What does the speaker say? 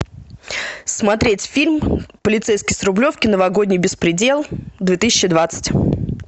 смотреть фильм полицейский с рублевки новогодний беспредел две тысячи двадцать